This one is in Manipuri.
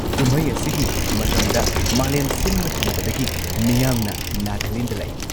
ꯀꯨꯝꯍꯩ ꯑꯁꯤꯒꯤ ꯃꯇꯝꯗ ꯃꯥꯂꯦꯝ ꯁꯤꯟꯕ ꯊꯨꯡꯕꯗꯒꯤ ꯃꯤꯌꯥꯝꯅ ꯅꯥꯒꯥꯂꯦꯟꯗ ꯂꯥꯛꯏ꯫